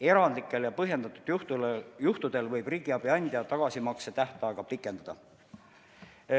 Erandlikel ja põhjendatud juhtudel võib riigiabi andja tagasimakse tähtaega pikendada.